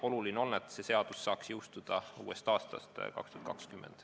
Oluline on, et see seadus saaks jõustuda uuest aastast, aastast 2020.